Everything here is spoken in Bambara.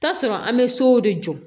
Taa sɔrɔ an bɛ sow de jɔ